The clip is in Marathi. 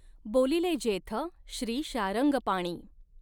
बोलिले जेथ श्रीशार्ङगपाणी।